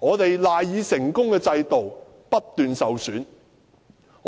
我們賴以成功的制度，不斷受損。